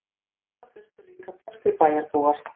Þangað þustu líka flestir bæjarbúar.